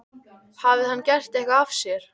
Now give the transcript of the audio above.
Hafði hann gert eitthvað af sér?